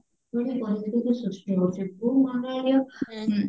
ପୁଣି ସୃଷ୍ଟି ହଉଚି ଭୂମଣ୍ଡଳରେ ଆଉ